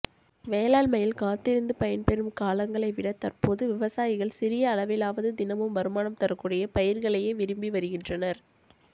வேளாண்மையில் காத்திருந்து பயன்பெறும் காலங்களை விட தற்போது விவசாயிகள் சிறிய அளவிலாவது தினமும் வருமானம் தரக்கூடிய பயிா்களையே விரும்பி வருகின்றனா்